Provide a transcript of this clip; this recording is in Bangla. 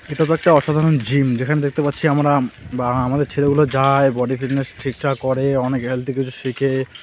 এটা তো একটা অসাধারণ জিম যেখানে দেখতে পাচ্ছি আমরা বা আমাদের ছেলেগুলা যায় বডি ফিটনেস ঠিকঠাক করে অনেক হেলদি কিছু শেখে .